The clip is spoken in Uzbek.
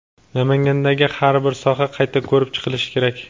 Namangandagi har bir soha qayta ko‘rib chiqilishi kerak.